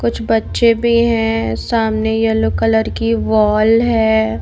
कुछ बच्चे भी है सामने येल्लो कलर की वॉल है।